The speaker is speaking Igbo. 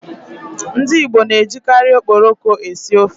Ndi Igbo na-ejikari Okporoko esi ofe.